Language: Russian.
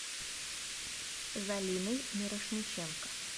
залиной мирошниченко